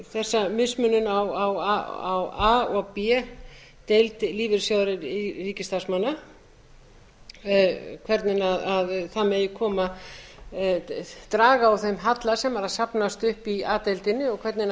þessa mismunun á a og b deild lífeyrissjóðs ríkisstarfsmanna hvernig það megi draga úr þeim halla sem er að safnast upp í a deildinni og hvernig